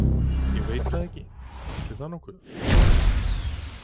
Ég veit það ekki, ætli það nokkuð.